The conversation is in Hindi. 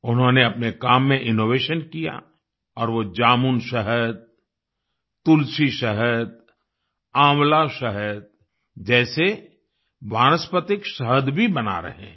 उन्होंने अपने काम में इनोवेशन किया और वो जामुन शहद तुलसी शहद आंवला शहद जैसे वानस्पतिक शहद भी बना रहे हैं